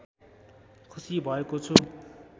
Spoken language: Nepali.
खुसी भएको छु